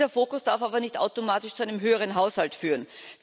Dieser Fokus darf aber nicht automatisch zu einem höheren Haushalt führen.